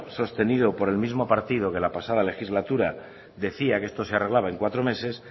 sostenido por el mismo partido que la pasada legislatura que decía que esto se arreglaba en cuatro meses